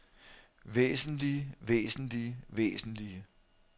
væsentlige væsentlige væsentlige